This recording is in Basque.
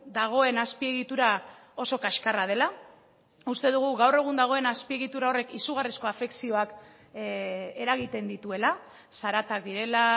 dagoen azpiegitura oso kaxkarra dela uste dugu gaur egun dagoen azpiegitura horrek izugarrizko afekzioak eragiten dituela zaratak direla